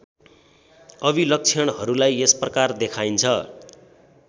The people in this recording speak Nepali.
अभिलक्षणहरूलाई यसप्रकार देखाइन्छ